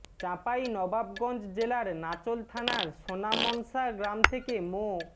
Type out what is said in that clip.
চাঁপাই নবাবগঞ্জ জেলার নাচোল থানার সোনামনসা গ্রাম থেকে মো